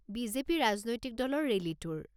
BJP ৰাজনৈতিক দলৰ ৰেলীটোৰ।